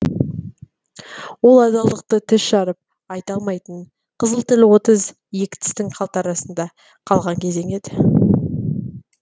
ол адалдықты тіс жарып айта алмайтын қызыл тіл отыз екі тістің қалтарысында қалған кезең еді